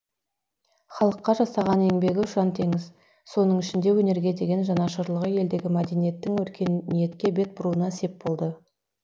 халыққа жасаған еңбегі ұшаң теңіз соның ішінде өнерге деген жанашырлығы елдегі мәдениеттің өркениетке бет бұруына сеп болды